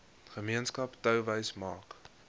gemeenskap touwys maak